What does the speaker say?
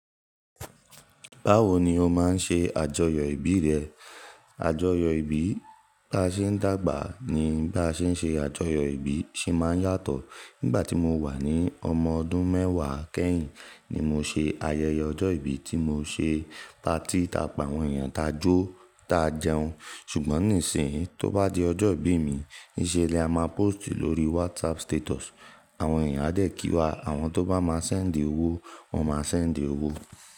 Báwo ni o máa ń ṣe àjọyọ̀ ìbí rẹ? Àjọyọ̀ ìbí tí a ṣe ń dàgbà ní bá ṣe ń ṣe àjọyọ̀ ìbí ṣe máa ń yàtọ̀. Nígbà tí mo wà ní ọmọ ọdún mẹ́wàá kẹ́yìn ni mo ṣe ayẹyẹ ọjọ́ ìbí tí mo ṣe. Ta tí ta pa àwọn èèyàn ta jó ta jẹun. Ṣùgbọ́n nísìnyí tó bá di ọjọ́ ìbí mi, níṣe lè a máa póòstì lórí WhatsApp status. Àwọn èèyàn á dẹ̀ kí wa, àwọn tó bá máa ṣẹ̀ńdì owó, wọ́n máa ṣẹ̀ńdì owó.